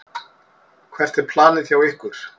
Hvert er planið hjá ykkur?